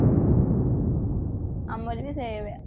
ଆମର ବି ସେଇଆ ବା